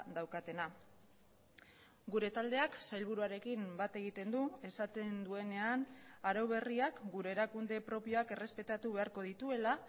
daukatena gure taldeak sailburuarekin bat egiten du esaten duenean arau berriak gure erakunde propioak errespetatu beharko dituela